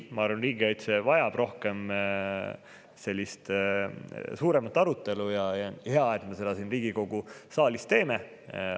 Ma arvan, et riigikaitse vajab rohkem sellist suuremat arutelu, ja hea, et me seda siin Riigikogu saalis peame.